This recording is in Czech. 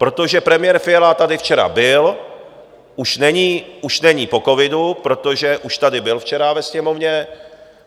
Protože premiér Fiala tady včera byl, už není po covidu, protože už tady byl včera ve Sněmovně.